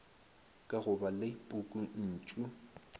ka go ba le pukuntšu